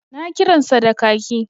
Na kiransa da kaki